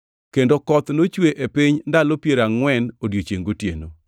Kendo koth nochwe e piny ndalo piero angʼwen odiechiengʼ gotieno.